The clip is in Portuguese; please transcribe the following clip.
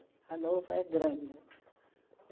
Hannover é grande.